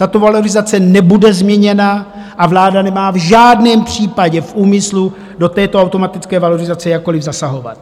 Tato valorizace nebude změněna a vláda nemá v žádném případě v úmyslu do této automatické valorizace jakkoli zasahovat.